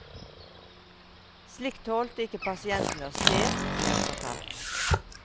Slikt tålte ikke pasientene å se, ble hun fortalt.